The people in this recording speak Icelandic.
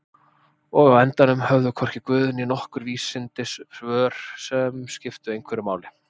Og á endanum höfðu hvorki guð né nokkur vísindi svör sem skiptu einhverju máli.